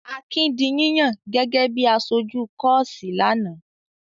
Akin di yíyàn gẹ́gẹ́ bí i aṣojú kọ́ọ́sì lánàá.